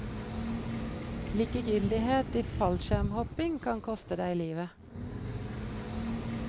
Likegyldighet i fallskjermhopping kan koste deg livet.